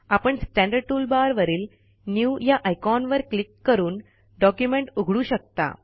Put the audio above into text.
आपण standard toolbar वरील new या आयकॉनवर क्लिक करून डॉक्युमेंट उघडू शकता